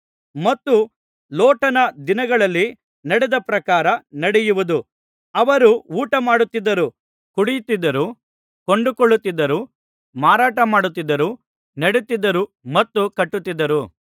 ಮತ್ತು ಲೋಟನ ದಿನಗಳಲ್ಲಿ ನಡೆದ ಪ್ರಕಾರ ನಡೆಯುವುದು ಅವರು ಊಟಮಾಡುತ್ತಿದ್ದರು ಕುಡಿಯುತ್ತಿದ್ದರು ಕೊಂಡುಕೊಳ್ಳುತ್ತಿದ್ದರು ಮಾರಾಟಮಾಡುತ್ತಿದ್ದರು ನೆಡುತ್ತಿದ್ದರು ಮತ್ತು ಕಟ್ಟುತ್ತಿದ್ದರು